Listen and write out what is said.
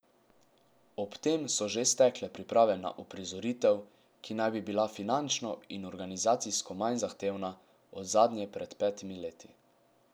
Ob tem so že stekle priprave na uprizoritev, ki naj bi bila finančno in organizacijsko manj zahtevna od zadnje pred petimi leti.